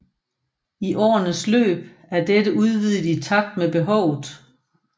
I årenes løb er dette udvidet i takt med behovet